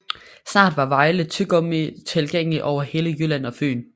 Snart var Vejle Tyggegummi tilgængelig over hele Jylland og Fyn